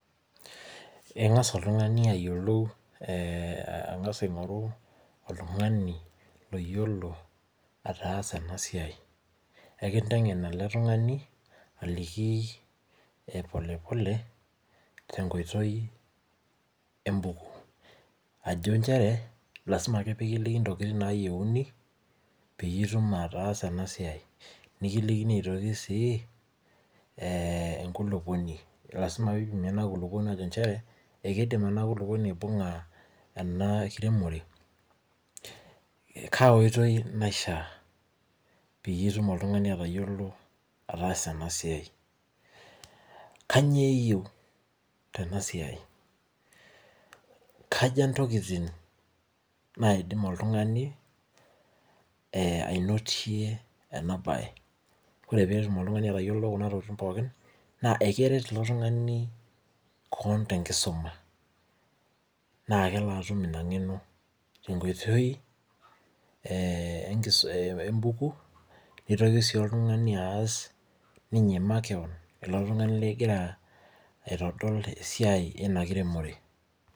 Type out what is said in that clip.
Engas oltungani ayilou angasa ayilou oltungani ogiolo ataasa enasiai ekintengen ele tungani aliki polepole tenkoitoi ajobnjere lasima ake pelikini ntokitin nayieuni pitumoki ataasa enasiai nikilikini si enkulukuoni lasima pipimibenkulupuoni nchere lasima pidimu enkiremore ekaotoi naisha peitum oltungani atayiolo peas enasiai, kanyio iyieu tenasia kaja ntokitin naidim oltungani ainotie enabae ore petum oltungani atayiolo kuna baa pookin akeret eletungani keon tenkisuma na kelo atum inangeno tenkooitoi embuku, nitoki ninye oltungani aas ninye makeon negira aitodol esiai ina kiremore.